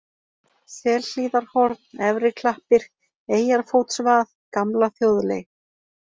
Selhlíðarhorn, Efri-Klappir, Eyjarfótsvað, Gamla þjóðleið